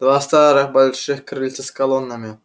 два старых больших крыльца с колоннами